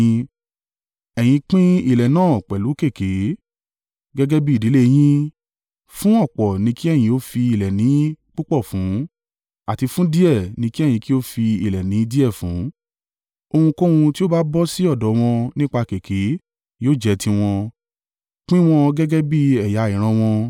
Ẹ̀yin pín ilẹ̀ náà pẹ̀lú kèké, gẹ́gẹ́ bí ìdílé yín. Fún ọ̀pọ̀ ni kí ẹ̀yin ó fi ilẹ̀ ìní púpọ̀ fún, àti fún díẹ̀, ni kí ẹ̀yin kí ó fi ilẹ̀ ìní díẹ̀ fún. Ohunkóhun tí ó bá bọ́ sí ọ̀dọ̀ wọn nípa kèké yóò jẹ́ tiwọn. Pín wọn gẹ́gẹ́ bí ẹ̀yà ìran wọn.